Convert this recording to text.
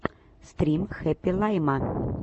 стрим хэппи лайма